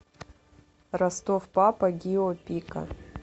ростов папа гио пика